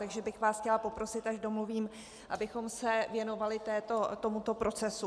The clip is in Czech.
Takže bych vás chtěla poprosit, až domluvím, abychom se věnovali tomuto procesu.